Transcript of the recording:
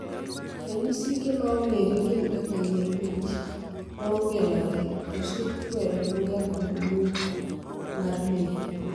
Ranyisige maong`ere gin kaka yier wich maongelore, koso chwero luya kod muk mar leke.